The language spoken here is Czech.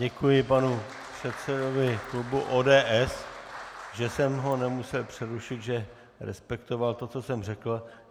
Děkuji panu předsedovu klubu ODS, že jsem ho nemusel přerušit, že respektoval to, co jsem řekl.